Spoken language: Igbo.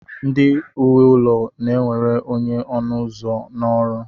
ndị nwe ụlọ na-ewere onye ọnụ ụzọ na ọrụ